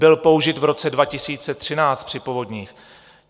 Byl použit v roce 2013 při povodních.